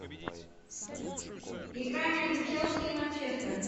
игра между челси и манчестер